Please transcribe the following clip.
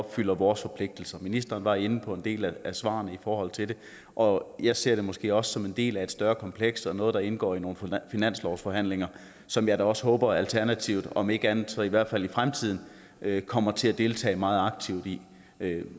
opfylder vores forpligtelser ministeren var inde på en del af svarene i forhold til det og jeg ser det måske også som en del af et større kompleks og noget der indgår i nogle finanslovsforhandlinger som jeg da også håber at alternativet om ikke andet så i hvert fald i fremtiden kommer til at deltage meget aktivt i